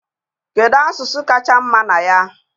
Kedu asụsụ kacha mma na ya?